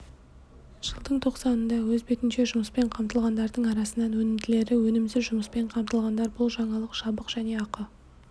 жылдың тоқсанында өз бетінше жүұмыспен қамтылғандардың арасынан өнімділері өнімсіз жұмыспен қамтылғандар бұл жаңалық жабық және ақы